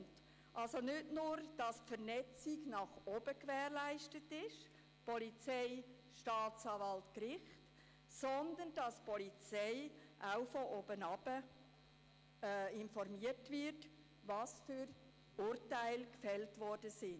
Es geht also darum, dass nicht nur die Vernetzungen nach oben gewährleistet sind – Polizei, Staatsanwalt, Gericht –, sondern dass die Polizei auch von oben darüber informiert wird, welche Urteile gefällt wurden.